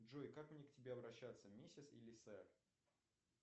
джой как мне к тебе обращаться миссис или сэр